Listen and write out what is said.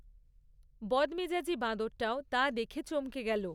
বদমেজাজী বাঁদরটাও তা দেখে চমকে গেল।